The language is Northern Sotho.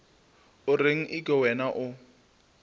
o reng eke wena o